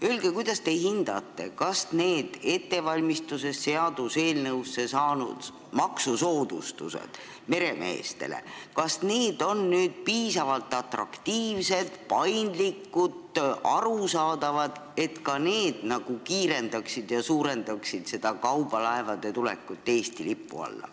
Öelge, kuidas te hindate, kas need seaduseelnõusse saanud maksusoodustused meremeestele on piisavalt atraktiivsed, paindlikud ja arusaadavad, et kiirendavad ja suurendavad nende kaubalaevade tulekut Eesti lipu alla.